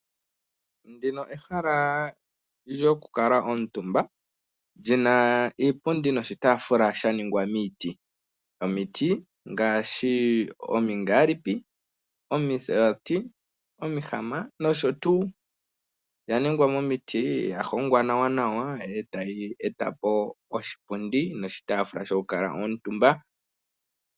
Ndika ehala lyokukala omutumba, lyi na iipundi noshitaafula sha ningwa miiti yomiti ngaashi; omingaalipi, omisaati, omihama nosho tuu. Iipundi niitafatula oya hongwa momiti etayi oshitafula shokukaka omuntumba.